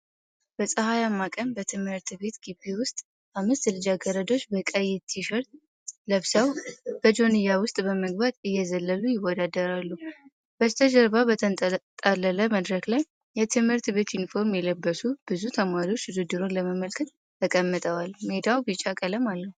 በፀሐያማ ቀን በትምህርት ቤት ግቢ ውስጥ አምስት ልጃገረዶች በቀይ ቲሸርት ለብሰው በጆንያ ውስጥ በመግባት እየዘለሉ ይወዳደራሉ። በስተጀርባ በተንጣለለ መድረክ ላይ የትምህርት ቤት ዩኒፎርም የለበሱ ብዙ ተማሪዎች ውድድሩን ለመመልከት ተቀምጠዋል። ሜዳው ቢጫ ቀለም አለው።